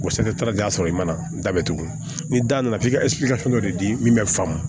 O y'a sɔrɔ i mana da bɛ tugu ni da nana f'i ka dɔ de di min faamu